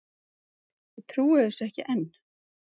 Ég trúi þessu ekki enn.